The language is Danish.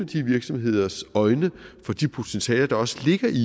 de virksomheders øjne for de potentialer at der også ligger i